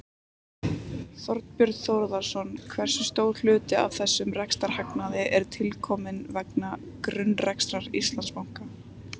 Þorbjörn Þórðarson: Hversu stór hluti af þessum rekstrarhagnaði er tilkominn vegna grunnrekstrar Íslandsbanka?